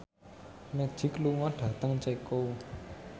Magic lunga dhateng Ceko